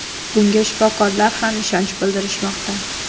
Bunga shifokorlar ham ishonch bildirishmoqda.